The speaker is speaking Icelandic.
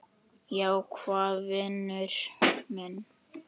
Já, hvað vinur minn?